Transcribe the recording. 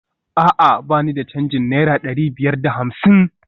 A'a ba ni da canjin naira dari biyar da hamsin?